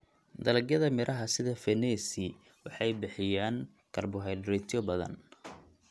Dalagyada miraha sida fenesi waxay bixiyaan karbohaydraytyo badan.